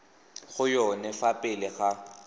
go yone fa pele ga